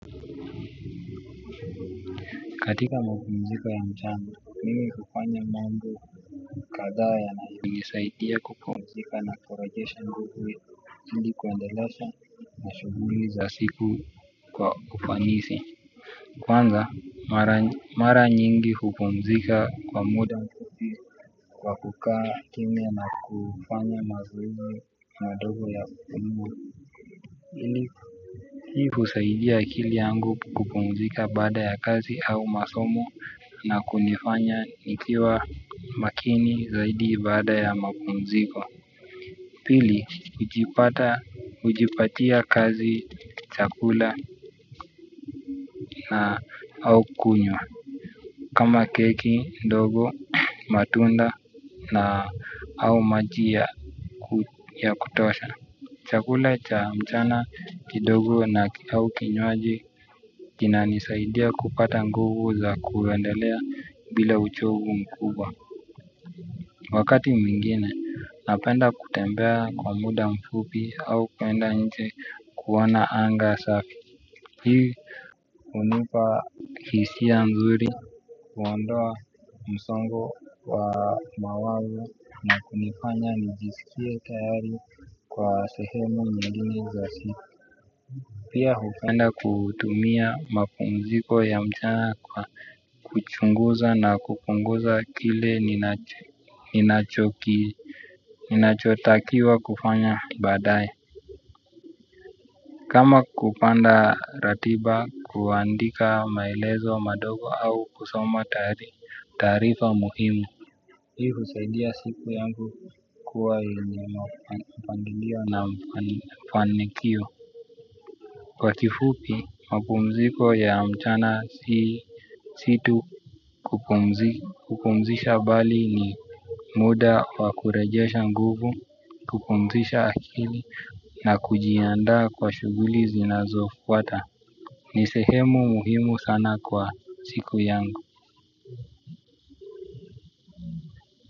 Katika mapumziko ya mchana, mimi hufanya mambo kadhaa yanayo h nisaidia kupumzika na kurejesha nguvu, hili kuendelesha mashuguli za siku kwa ufanisi. Kwanza, mara nyingi kupumzika kwa muda kwa kukaa kimya na kufanya mazoezi madogo ya ya umu ili kusaidia akili yangu kupumzika baada ya kazi au masomo na kunifanya nikiwa makini zaidi baada ya mapumziko. Pili ujipatia kazi chakula na au kunywa. Kama keki ndogo matunda na au maji ya kutosha. Chakula cha mchana kidogo na au kinywaji kina nisaidia kupata nguvu za kuendelea bila uchovu mkubwa. Wakati mingine napenda kutembea kwa muda mfupi au kuenda nje kuona anga safi. Hii unipa hisia mzuri. Kuondoa msongo wa mawazo na kunifanya nijisikia tayari kwa sehemu nyingine za siku. Pia hukenda kutumia mapumziko ya mchana kwa kuchunguza na kupunguza kile ninachotakiwa kufanya badaye. Kama kupanda ratiba, kuandika maelezo mandogo au kusoma taarifa muhimu hiii husadia siku yangu kuwa yenye mpangilio na mfanikio kwa kifupi mapumziko ya mchana si tu kupumzika kupumzisha bali ni muda wakurejesha nguvu, kupumzisha akili na kujiandaa kwa shuguli zinazofuata. Ni sehemu muhimu sana kwa siku yangu.